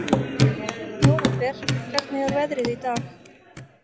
Nóvember, hvernig er veðrið í dag?